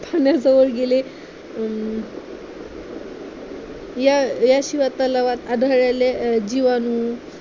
पाण्या जवळ गेले याशिवाय तलावात आढळलेले जिवाणू